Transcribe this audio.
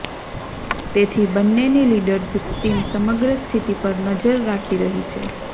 તેથી બંનેની leadership team સમગ્ર સ્થિતિ પર નજર રાખી રહી છે